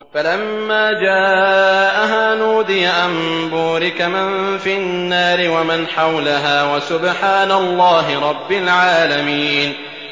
فَلَمَّا جَاءَهَا نُودِيَ أَن بُورِكَ مَن فِي النَّارِ وَمَنْ حَوْلَهَا وَسُبْحَانَ اللَّهِ رَبِّ الْعَالَمِينَ